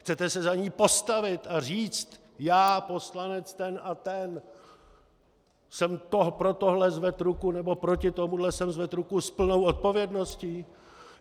Chcete se za ni postavit a říct "já, poslanec ten a ten, jsem pro tohle zvedl ruku, nebo proti tomuhle jsem zvedl ruku s plnou odpovědností"?